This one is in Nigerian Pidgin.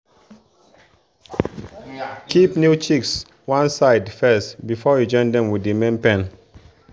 keep new chicks one side first before you join dem with the main pen.